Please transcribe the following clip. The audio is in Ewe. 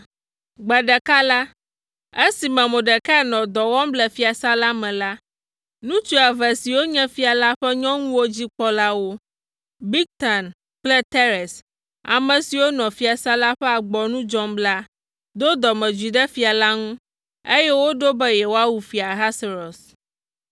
Gbe ɖeka la, esime Mordekai nɔ dɔ wɔm le fiasã la me la, ŋutsu eve siwo nye fia la ƒe nyɔnuwo dzi kpɔlawo, Bigtan kple Teres, ame siwo nɔ fiasã la ƒe agboa nu dzɔm la do dɔmedzoe ɖe fia la ŋu, eye woɖo be yewoawu Fia Ahasuerus.